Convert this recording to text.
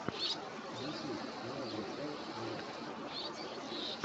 ютюб логан пол влогс